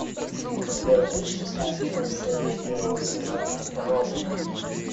у тебя есть шестнадцатая серия первого сезона родина